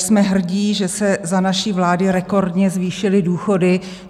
Jsme hrdí, že se za naší vlády rekordně zvýšily důchody.